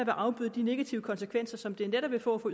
afbøde de negative konsekvenser som det netop vil få for